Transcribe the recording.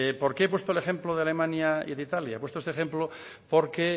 por qué he puesto el ejemplo de alemania y de italia he puesto este ejemplo porque